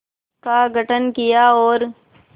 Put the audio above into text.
का गठन किया और